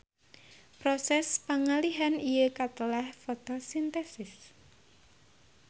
Proses pangalihan ieu katelah fotosintesis.